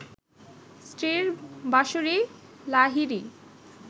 স্ত্রী বাঁশরী লাহিড়ী